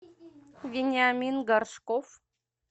вениамин горшков